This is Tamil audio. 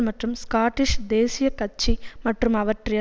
மற்றும் ஸ்காட்டிஷ் தேசிய கட்சி மற்றும் அவற்றை